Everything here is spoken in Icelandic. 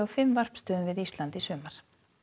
fimm varpstöðum við Ísland í sumar